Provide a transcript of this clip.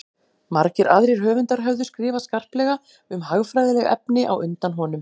margir aðrir höfundar höfðu skrifað skarplega um hagfræðileg efni á undan honum